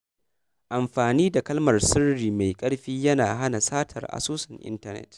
Amfani da kalmar sirri mai ƙarfi yana hana satar asusun intanet.